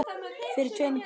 Fyrir tveimur dögum?